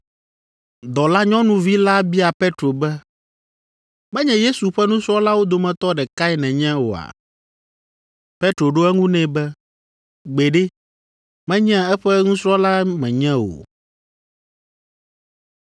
Dɔlanyɔnuvi la bia Petro be, “Menye Yesu ƒe nusrɔ̃lawo dometɔ ɖekae nènye oa?” Petro ɖo eŋu nɛ be, “Gbeɖe, menye eƒe nusrɔ̃la menye o.”